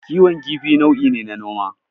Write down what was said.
Kiwon kifi nau'i ne na noma.